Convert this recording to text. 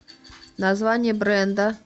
название бренда